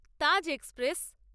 Taj express